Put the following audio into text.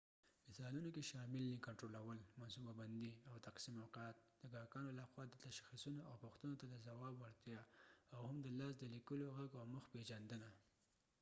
مثالونو کې شامل دي کنټرول منصوبه بندي او تقسیم اوقات د ګاهکانو لخوا تشخیصونو او پوښتنو ته د ځواب وړتیا او هم د لاس د لیکلو غږ او مخ پېژندنه